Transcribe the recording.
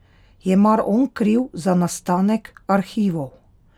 Je mar on kriv za nastanek arhivov?